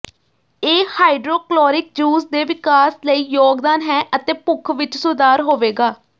ਇਹ hydrochloric juice ਦੇ ਵਿਕਾਸ ਲਈ ਯੋਗਦਾਨ ਹੈ ਅਤੇ ਭੁੱਖ ਵਿੱਚ ਸੁਧਾਰ ਹੋਵੇਗਾ